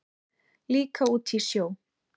Líka út í sjó.